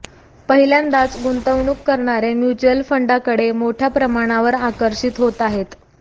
पहिल्यांदाच गुंतवणूक करणारे म्युच्युअल फंडांकडे मोठ्या प्रमाणावर आकर्षित होत आहेत